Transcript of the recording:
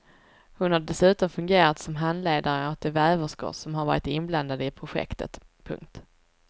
Hon har dessutom fungerat som handledare åt de väverskor som har varit inblandade i projektet. punkt